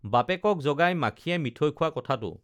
বাপেকক জগাই মাখিয়ে মিঠৈ খোৱা কথাটো